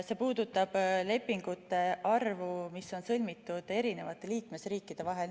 See on nende lepingute arv, mis on sõlmitud erinevate liikmesriikide vahel.